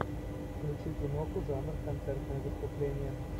включи киноху жанр концертное выступление